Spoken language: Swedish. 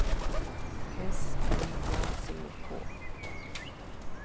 S N A C K